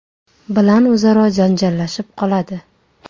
bilan o‘zaro janjallashib qoladi.